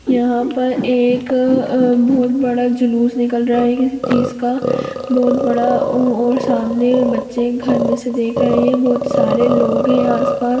यहाँ पर एक अ बहुत बड़ा जुलूस निकल रहा है किसी चीज़ का बहुत बड़ा और सामने बच्चे घर में से देख रहे है बहोत सारे लोग है आस-पास--